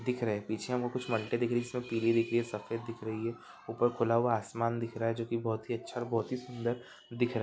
दिख रहे पीछे हमे कुछ मट्टी दिख राही है इसमे पीली दिखरी है सफ़ेद दिख रही है ऊपर खुला हुआ आसमान दिख रहा है को की बहुत ही अच्छा और बहुत ही सुंदर दी--